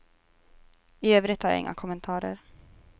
I övrigt har jag inga kommentarer.